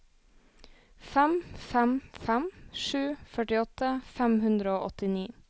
fem fem fem sju førtiåtte fem hundre og åttini